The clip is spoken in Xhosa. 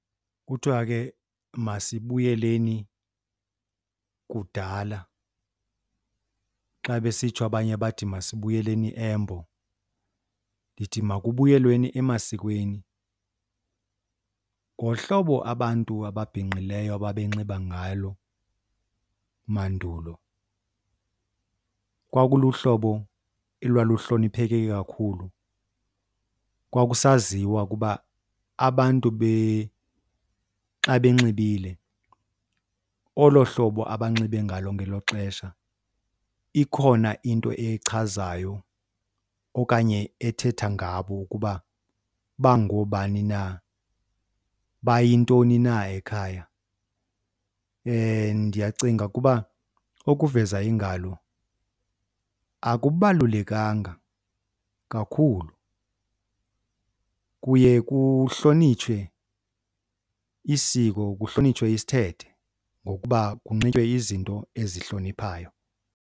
Kuthiwa ke masibuyeleni kudala, xa besitsho abanye bathi masibuyeleni embo. Ndithi makubuyelweni emasikweni. Ngohlobo abantu ababhinqileyo ababenxiba ngalo mandulo kwakuluhlobo elwaluhlonipheke kakhulu. Kwakusaziwa ukuba abantu xa benxibile olo hlobo abanxibe ngalo ngelo xesha ikhona into echazayo okanye ethetha ngabo ukuba bangoobani na, bayintoni na ekhaya. Ndiyacinga ukuba ukuveza iingalo akubalulekanga kakhulu. Kuye kuhlonitshwe isiko, kuhlonitshwe isithethe ngokuba kunxitywe izinto ezihloniphayo.